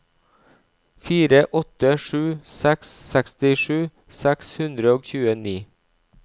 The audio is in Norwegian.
fire åtte sju seks sekstisju seks hundre og tjueni